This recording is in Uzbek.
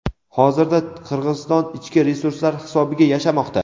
hozirda Qirg‘iziston ichki resurslar hisobiga yashamoqda.